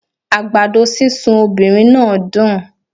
Àgbàdo sísun obìnrin náà dùn